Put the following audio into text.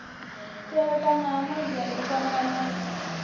tevhekana ha modele u fhambanesa